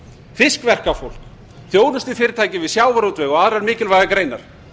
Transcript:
fiskverkafólk þjónustufyrirtæki við sjávarútveg og aðrar mikilvægar greinar